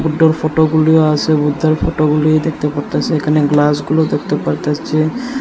বুড্ডোর ফটোগুলিও আসে বুদ্ধার ফটোগুলি দেখতে পারতাসি এখানে গ্লাসগুলো দেখতে পারতাসি।